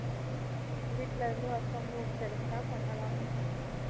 வீட்டுல இருந்து work from home கிடச்சா பண்ணலாம்